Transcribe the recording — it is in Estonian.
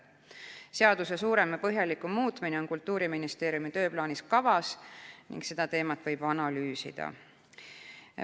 Seaduse suurem ja põhjalikum muutmine on Kultuuriministeeriumi tööplaanis ning seda teemat võib analüüsida.